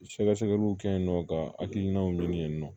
Sɛgɛsɛgɛliw kɛ yen nɔ ka hakilinaw ɲini nɔ